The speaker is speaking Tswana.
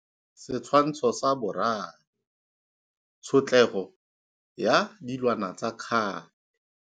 Setshwantsho sa 3. Tshotlego ya dilwana tsa kgale.